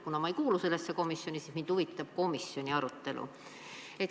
Kuna ma ei kuulu sellesse komisjoni, siis mind huvitab komisjoni arutelu.